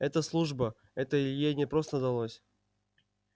это служба это илье непросто далось